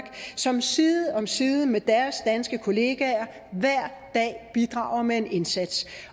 som side om side med deres danske kolleger hver dag bidrager med en indsats